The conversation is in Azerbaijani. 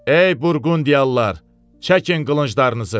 Ey Burqundiyalılar, çəkin qılınclarınızı!